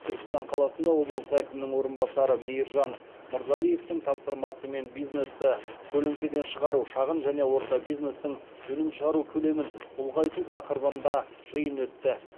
түркістан қаласында облыс әкімінің орынбасары мейіржан мырзалиевтің тапсырмасымен бизнесті көлеңкеден шығару шағын және орта бизнестің өнім шығару көлемін ұлғайту тақырыбында жиын өтті